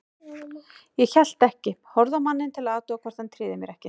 Ég hélt ekki, horfði á manninn til að athuga hvort hann tryði mér ekki.